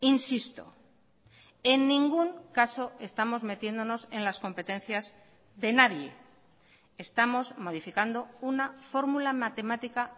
insisto en ningún caso estamos metiéndonos en las competencias de nadie estamos modificando una fórmula matemática